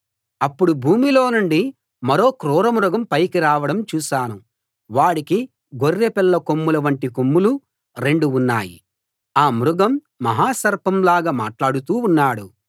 అప్పుడు భూమిలో నుండి మరో క్రూర మృగం పైకి రావడం చూశాను వాడికి గొర్రెపిల్ల కొమ్ముల వంటి కొమ్ములు రెండు ఉన్నాయి ఆ మృగం మహాసర్పంలాగా మాట్లాడుతూ ఉన్నాడు